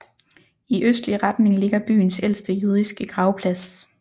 I østlig retning ligger byens ældste jødiske gravplads